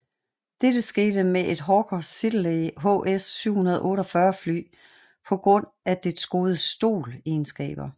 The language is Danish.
Dette skete med et Hawker Siddeley HS 748 fly på grund af dets gode STOL egenskaber